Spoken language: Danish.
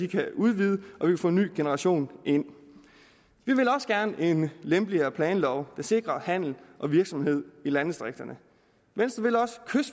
kan udvides og vi kan få en ny generation ind vi vil også gerne en lempeligere planlov der sikrer handel og virksomhed i landdistrikterne venstre